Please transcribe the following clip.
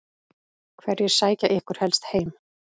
Hverjir sækja ykkur helst heim?